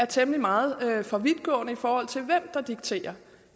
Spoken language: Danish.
temmelig meget for vidtgående i forhold til hvem der dikterer